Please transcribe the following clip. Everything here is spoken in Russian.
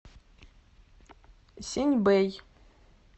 синьбэй